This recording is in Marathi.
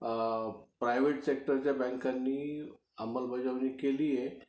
प्रायव्हेट सेक्टरच्या बँकांनी अंमलबजावणी केलेली आहे